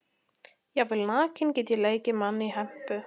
Jafnvel nakinn get ég leikið mann í hempu.